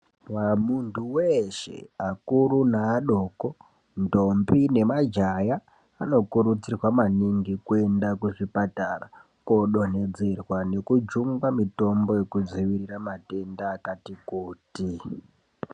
Muntu weshe ,akuru, naadoko ,ntombi nemajaya anokurudzirwa maningi kuenda kuzvipatara kodonhedzerwa nekujungwa mitombo yekudzivirira mitombo yakati kuti.